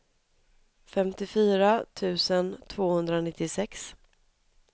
femtiofyra tusen tvåhundranittiosex